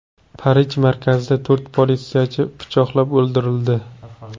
Parij markazida to‘rt politsiyachi pichoqlab o‘ldirildi.